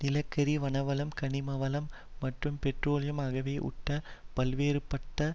நிலக்கரி வனவளம் கனிமவளம் மற்றும் பெட்ரோலியம் ஆகியவை உட்பட பல்வேறுபட்ட